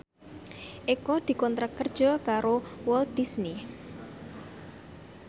Eko dikontrak kerja karo Walt Disney